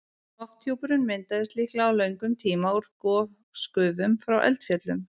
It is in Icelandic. Lofthjúpurinn myndaðist líklega á löngum tíma úr gosgufum frá eldfjöllum.